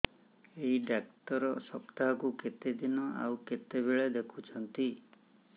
ଏଇ ଡ଼ାକ୍ତର ସପ୍ତାହକୁ କେତେଦିନ ଆଉ କେତେବେଳେ ଦେଖୁଛନ୍ତି